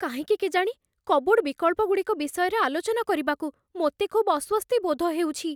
କାହିଁକି କେଜାଣି, କପ୍‌ବୋର୍ଡ୍ ବିକଳ୍ପଗୁଡ଼ିକ ବିଷୟରେ ଆଲୋଚନା କରିବାକୁ ମୋତେ ଖୁବ୍ ଅସ୍ଵସ୍ତି ବୋଧ ହେଉଛି।